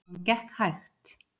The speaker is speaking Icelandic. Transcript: Hún gekk hægt.